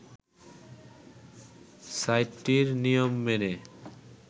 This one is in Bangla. সাইটটির নিয়ম মেনে